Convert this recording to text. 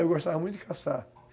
Eu gostava muito de caçar.